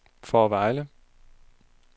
Fårevejle